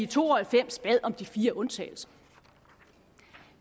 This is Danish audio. to og halvfems bad om de fire undtagelser